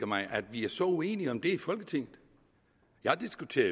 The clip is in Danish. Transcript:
mig at vi er så uenige om det i folketinget jeg diskuterer